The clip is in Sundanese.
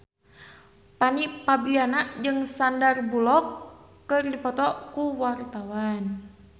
Fanny Fabriana jeung Sandar Bullock keur dipoto ku wartawan